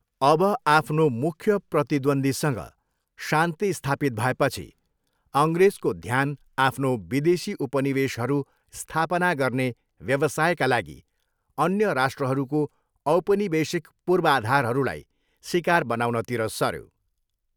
अब आफ्नो मुख्य प्रतिद्वन्द्वीसँग शान्ति स्थापित भएपछि, अङ्ग्रेजको ध्यान आफ्नो विदेशी उपनिवेशहरू स्थापना गर्ने व्यवसायका लागि अन्य राष्ट्रहरूको औपनिवेशिक पूर्वाधारहरूलाई सिकार बनाउनतिर सऱ्यो।